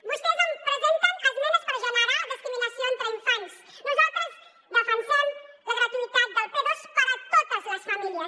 vostès presenten esmenes per generar discriminació entre infants nosaltres defensem la gratuïtat del p2 per a totes les famílies